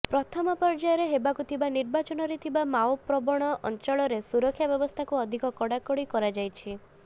ପ୍ରଥମ ପର୍ଯ୍ୟାୟରେ ହେବାକୁଥିବା ନିର୍ବାଚନ ରେ ଥିବା ମାଓ ପ୍ରବଣ ଅଞ୍ଚଳରେ ସୁରକ୍ଷା ବ୍ୟବସ୍ଥାକୁ ଅଧିକ କଡ଼ାକଡ଼ି କରାଯାଇଛି